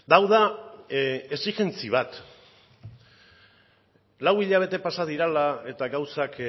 hau da exijentzia bat lau hilabete pasa direla eta gauzak